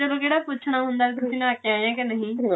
ਉੱਥੇ ਕਿਹੜਾ ਪੁੱਛਣਾ ਹੁੰਦਾ ਤੁਸੀਂ ਨਹਾ ਕਿ ਆਏ ਹੋ ਜਾਂ ਨਹੀ